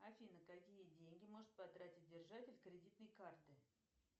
афина какие деньги может потратить держатель кредитной карты